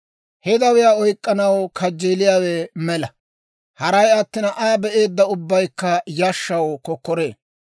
«He dawiyaa oyk'k'anaw kajjeeliyaawe mela; haray attina, Aa be'eedda ubbaykka yashshaw kokkoree.